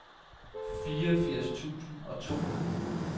fireogfirs tusind og to